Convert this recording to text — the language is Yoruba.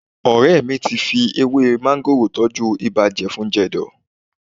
Ọ̀rẹ́ mi ti fi ewé máńgòrò tọ́jú ibà jẹfun-jẹ̀dọ̀